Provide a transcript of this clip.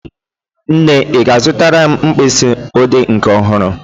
Nne, ị ga-azụtara m mkpịsị odee nke ọhụrụ?